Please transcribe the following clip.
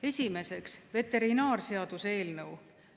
Esiteks, veterinaarseaduse eelnõu.